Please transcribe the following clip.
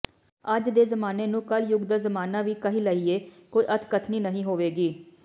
ਅੱਜ ਦੇ ਜਮਾਨੇ ਨੂੰ ਕਲਯੁਗ ਦਾ ਜਮਨਾ ਵੀ ਕਹਿ ਲਾਈਐ ਕੋਈ ਅੱਤਕਥਨੀ ਨਹੀਂ ਹੋਵੇਗੀ